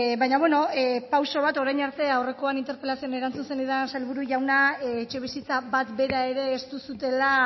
baina bueno pauso bat orain arte aurrekoan interpelazioan erantzun zenidan sailburu jauna etxebizitza bat bera ere ez duzuela